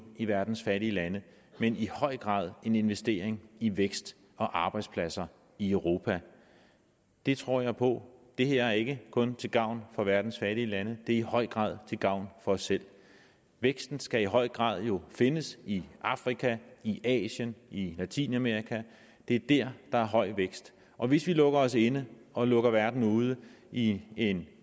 i verdens fattige lande men i høj grad en investering i vækst og arbejdspladser i europa det tror jeg på det her er ikke kun til gavn for verdens fattige lande det er i høj grad til gavn for os selv væksten skal jo i høj grad findes i afrika i asien i latinamerika det er der der er høj vækst og hvis vi lukker os inde og lukker verden ude i en